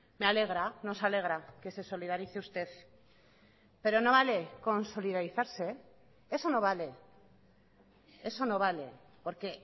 me alegra nos alegra que se solidarice usted pero no vale con solidarizarse eso no vale eso no vale porque